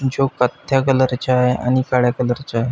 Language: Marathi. जो कथ्या कलर च्या आ आणि काळ्या कलर च्या.